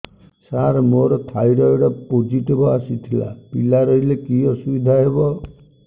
ସାର ମୋର thyroid positive ଆସିଥିଲା ପିଲା ରହିଲେ କି ଅସୁବିଧା ହେବ